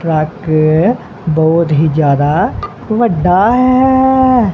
Truck ਬਹੁਤ ਹੀ ਜਿਆਦਾ ਵੱਡਾ ਹੈ।